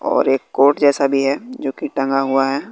और एक कोट जैसा भी है जो की टंगा हुआ है।